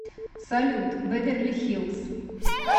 салют бэверли хиллз